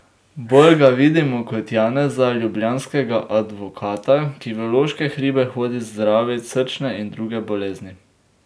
Bolj ga vidimo kot Janeza, ljubljanskega advokata, ki v loške hribe hodi zdravit srčne in druge bolezni.